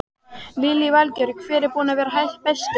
Lillý Valgerður: Hver er búinn að vera bestur?